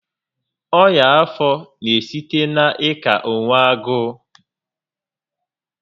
Ọnya afọ n'esite na ị ka onwe agụụ